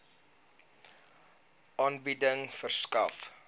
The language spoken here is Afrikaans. aanbieding verskaf